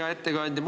Hea ettekandja!